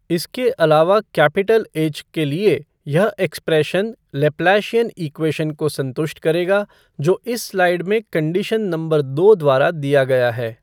इसके अलावा capital H के लिए यह एक्सप्रेशन लैप्लाशियन इक्वेशन को संतुष्ट करेगा जो इस स्लाइड में कन्डिशन नंबर दो द्वारा दिया गया है।